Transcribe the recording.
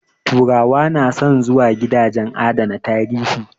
Turawa na son zuwa gidajen adana tarihi